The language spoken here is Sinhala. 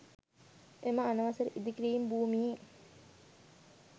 එම අනවසර ඉදිකිරිම් භූමියේ